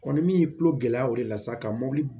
ni min ye tulo gɛlɛya o de la sisan ka mobili